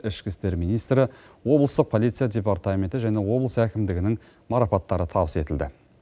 ішкі істер министрі облыстық полиция департаменті және облыс әкімдігінің марапаттары табыс етілді